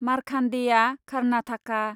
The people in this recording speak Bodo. मारखान्देआ खारनाथाखा